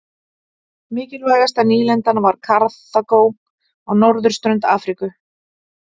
Mikilvægasta nýlendan var Karþagó á norðurströnd Afríku.